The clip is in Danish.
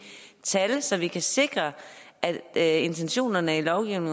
tal så vi kan sikre at at intentionerne i loven